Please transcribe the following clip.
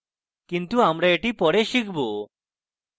কিন্তু আমরা এটি পরে শিখব